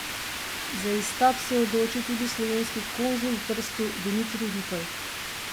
Za izstop se je odločil tudi slovenski konzul v Trstu Dimitrij Rupel.